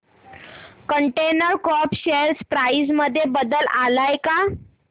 container corp share price मध्ये बदल आलाय का